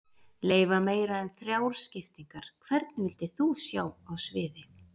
Leyfa meira en þrjár skiptingar Hvern vildir þú sjá á sviði?